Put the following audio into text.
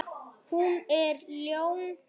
Hún er ljón.